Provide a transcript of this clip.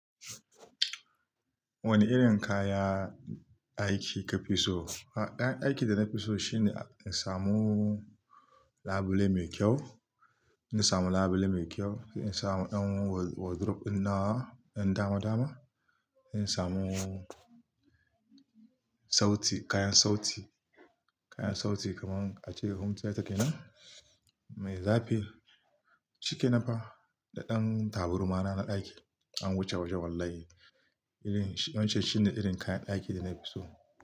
Wane irin kaya aiki kafi so? A'a, ɗan aikin da na fi so shine in samu labule mai kyau, in samu labule mai kyau, in samu ɗan wardrobe nawa, ɗan dama-dama, in samu sauti, kayan sauti, kayan sauti kaman ace home tiyata nan, mai zafi, shiken pa da ɗan taburma na na ɗaki, an wuce wajen wallahi. Irin, wancan shine irin kayan daki da na fi so.